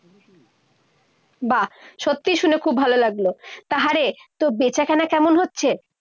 বাহ, সত্যিই শুনে খুব ভালো লাগলো। তা আহারে তোর বেচাকেনা কেমন হচ্ছে?